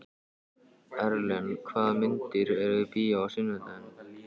Erlen, hvaða myndir eru í bíó á sunnudaginn?